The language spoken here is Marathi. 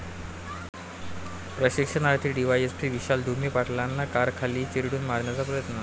प्रशिक्षणार्थी डीवायएसपी विशाल ढुमे पाटलांना कारखाली चिरडून मारण्याचा प्रयत्न